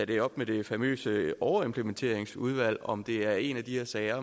det op med det famøse overimplementeringsudvalg altså om det er en af de sager